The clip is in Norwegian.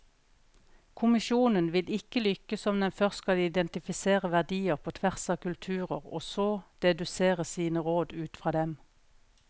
Kommisjonen vil ikke lykkes om den først skal identifisere verdier på tvers av kulturer og så dedusere sine råd ut fra dem.